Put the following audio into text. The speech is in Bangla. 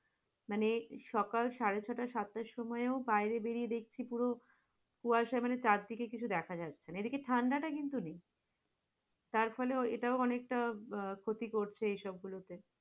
মানে সকাল সাড়ে-ছয়টা সাতটা সময় বাইরে বেরিয়ে দেখছি পুরো কুয়াশা, মানে চারদিকে কিছু দেখা যাচ্ছে না, এদিকে ঠান্ডাটা কিন্তু নেই, তারফলে এটাও অনেকটা আহ ক্ষতি করছে সবগুলোতে।